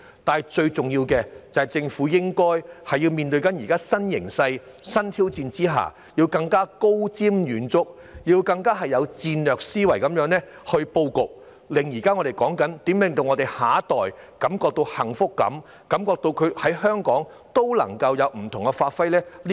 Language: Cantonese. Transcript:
不過，最重要的是，政府面對現時的新形勢及新挑戰，應該更加高瞻遠矚，以戰略思維布局，令我們的下一代感到幸福，感到他們在香港可以有不同發揮。